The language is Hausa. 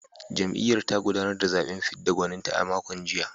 Jam’iyyar ta gudanar da zaben fidda gwaninta a makon jiya